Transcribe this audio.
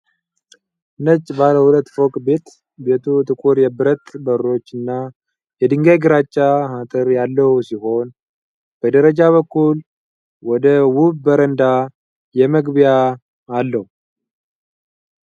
ነጭ ባለ ሁለት ፎቅ ቤት ። ቤቱ ጥቁር የብረት በሮች እና የድንጋይ ግራጫ አጥር ያለው ሲሆን፣ በደረጃ በኩል ወደ ውብ በረንዳ መግቢያ አለው።